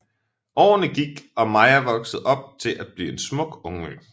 Årene gik og Maija voksede op til at blive en smuk ungmø